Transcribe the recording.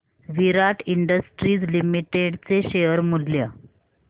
विराट industries limited चे share मूल्य